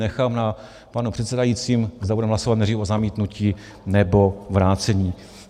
Nechám na panu předsedajícím, zda budeme hlasovat nejprve o zamítnutí, nebo vrácení.